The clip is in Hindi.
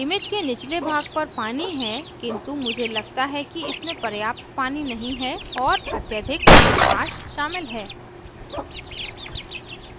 image के निचले भाग पर पानी है किन्तु मुझे लगता कि इसमें पर्याप्त पानी नहीं है और अत्यधिक आकाश शामिल है